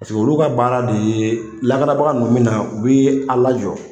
olu ka baara de ye lakanabaga ninnu bɛ na u bɛ a' lajɔ